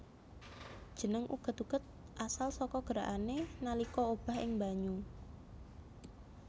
Jeneng uget uget asal saka gerakané nalika obah ing banyu